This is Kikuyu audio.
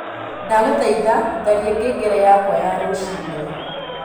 ndagũthaĩtha tharĩa ngengere yakwa ya rucĩĩni